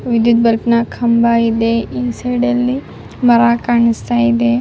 ಇಲ್ಲಿ ದೊಡ್ಡ ಕಂಬ ಇದೆ ಸೈಡ್ ನಲ್ಲಿ ಮರ ಕಾಣಿಸ್ತಾ ಇದೆ.